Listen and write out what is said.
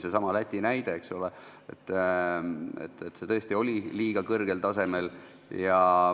Seesama Läti näide oli liiga kõrgel tasemel.